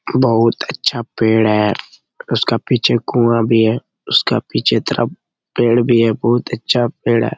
बहुत अच्छा पेड़ है उसका पीछे कुआँ भी है उसका पीछे पेड़ भी है बहुत अच्छा पेड़ है ।